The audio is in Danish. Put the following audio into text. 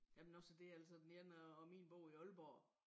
Jamen også det altså den ene af af min bor i Aalborg